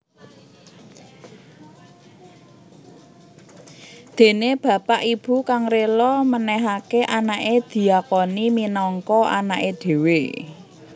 Dene bapak/ibu kang rila menehake anake diakoni minangka anake dhewe